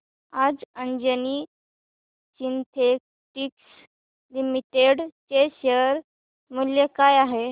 आज Anjani synthetics limited चे share मूल्य काय आहे